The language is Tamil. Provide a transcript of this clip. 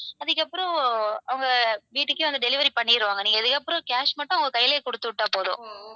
அதுக்கப்பறம் அவங்க வீட்டுக்கே வந்து delivery பண்ணிருவாங்க. நீங்க அதுக்கப்பறம் cash மட்டும் அவங்க கையிலேயே குடுத்து விட்டா போதும்.